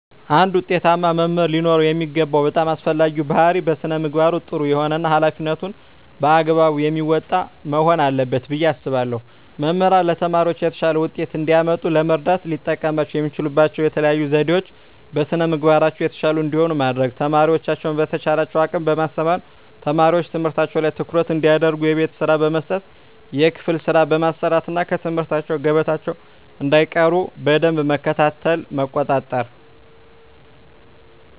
አንድ ውጤታማ መምህር ሊኖረው የሚገባው በጣም አስፈላጊው ባህሪይ በስነ ምግባሩ ጥሩ የሆነ እና ሀላፊነቱን በአግባቡ የሚወጣ መሆን አለበት ብየ አስባለሁ። መምህራን ለተማሪዎቻቸው የተሻለ ውጤት እንዲያመጡ ለመርዳት ሊጠቀሙባቸው የሚችሉባቸው የተለዩ ዘዴዎች - በስነ ምግባራቸው የተሻሉ እንዲሆኑ ማድረግ፣ ተማሪዎቻቸውን በተቻላቸው አቅም በማስተማር፣ ተማሪዎች ትምህርታቸው ላይ ትኩረት እንዲያደርጉ የቤት ስራ በመስጠት የክፍል ስራ በማሰራት እና ከትምህርት ገበታቸው እንዳይቀሩ በደንብ መከታተልና መቆጣጠር።